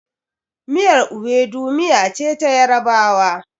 Miyar Iwidu miya ce ta yarabawa